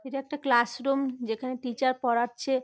এটা একটা ক্লাসরুম যেখানে টিচার পড়াচ্ছে।